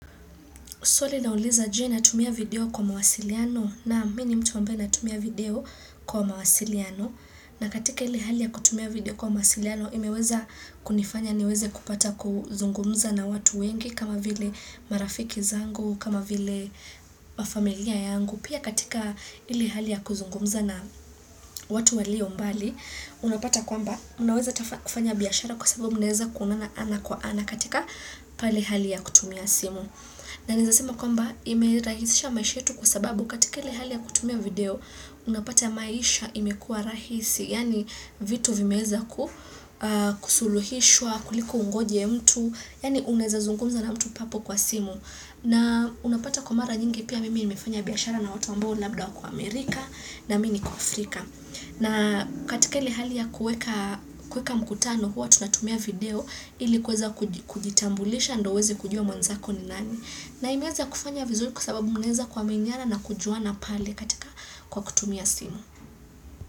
Swali lauliza je natumia video kwa mawasiliano naam mi ni mtu ambaye natumia video kwa mawasiliano. Na katika ile hali ya kutumia video kwa mawasiliano, imeweza kunifanya niweze kupata kuzungumza na watu wengi kama vile marafiki zangu, kama vile wa familia yangu. Pia katika ile hali ya kuzungumza na watu walio mbali, unapata kwamba unaweza kufanya biashara kwa sababu mnaeza kuonana ana kwa ana katika pale hali ya kutumia simu. Na ninaeza sema kwamba ime rahisisha maisha yetu kwa sababu katika ile hali ya kutumia video unapata maisha imekua rahisi yaani vitu vimeweza kusuluhishwa kuliko ungoje mtu yaani unaeza zungumza na mtu papo kwa simu na unapata kwa mara nyingi pia mimi nimefanya biashara na watu ambao labda wako Amerika na mi niko Afrika. Na katika ile hali ya kueka mkutano huwa tunatumia video ili kuweza kujitambulisha ndio uweze kujua mwanzako ni nani. Na imeweza kufanya vizuri kwa sababu mnaeza kuaminiana na kujuana pale katika kwa kutumia simu.